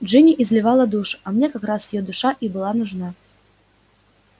джинни изливала душу а мне как раз её душа и была нужна